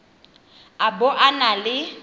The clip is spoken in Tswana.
a bo a na le